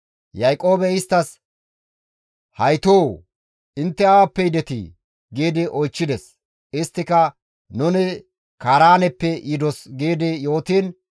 Yaaqoobey isttas, «Haytoo! Intte awappe yidetii?» gi oychchides. Isttika, «Nuni Kaaraaneppe yidos» gi yootiin,